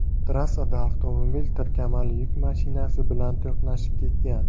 Trassada avtomobil tirkamali yuk mashinasi bilan to‘qnashib ketgan.